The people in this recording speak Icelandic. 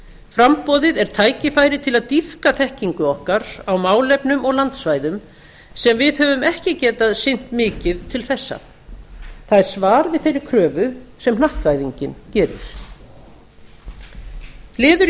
framboðið er tækifæri til að dýpka þekkingu okkar á málefnum og landsvæðum sem við höfum ekki getað sinnt mikið til þessa það er svar við þeirri kröfu sem hnattvæðingin gerir liður í